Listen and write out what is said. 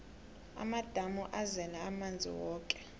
amadamu azele amanzi woke